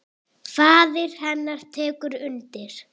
Faðir hennar tekur undir.